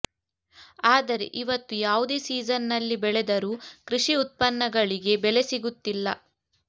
ಆದರೆ ಇವತ್ತು ಯಾವುದೇ ಸೀಸನ್ನಲ್ಲಿ ಬೆಳೆದರೂ ಕೃಷಿ ಉತ್ಪನ್ನಗಳಿಗೆ ಬೆಲೆ ಸಿಗುತ್ತಿಲ್ಲ